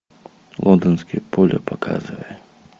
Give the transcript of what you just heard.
лондонские поля показывай